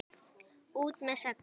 ÚT MEÐ SEGLIÐ!